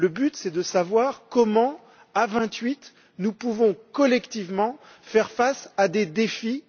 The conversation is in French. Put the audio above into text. Le but, c'est de savoir comment à vingt huit nous pouvons collectivement faire face à des défis.